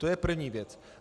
To je první věc.